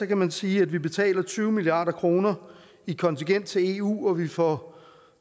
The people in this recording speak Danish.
kan man sige at vi betaler tyve milliard kroner i kontingent til eu og vi får